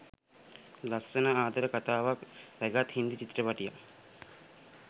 ලස්සන ආදර කතාවක් රැගත් හින්දි චිත්‍රපටයක්.